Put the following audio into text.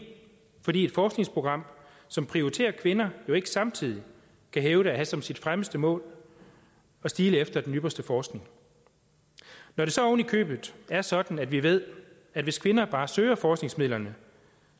fordi et forskningsprogram som prioriterer kvinder jo ikke samtidig kan hævde at have som sit fremmeste mål at stile efter den ypperste forskning når det så oven i købet er sådan at vi ved at hvis kvinder bare søger forskningsmidlerne